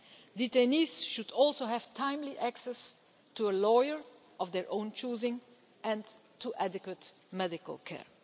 Detainees should also have timely access to a lawyer of their own choosing, and to adequate medical care.